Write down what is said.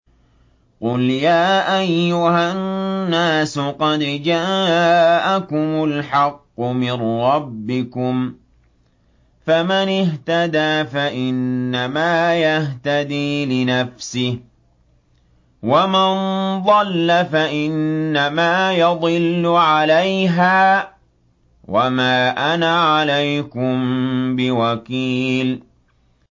قُلْ يَا أَيُّهَا النَّاسُ قَدْ جَاءَكُمُ الْحَقُّ مِن رَّبِّكُمْ ۖ فَمَنِ اهْتَدَىٰ فَإِنَّمَا يَهْتَدِي لِنَفْسِهِ ۖ وَمَن ضَلَّ فَإِنَّمَا يَضِلُّ عَلَيْهَا ۖ وَمَا أَنَا عَلَيْكُم بِوَكِيلٍ